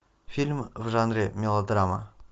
фильм в жанре мелодрама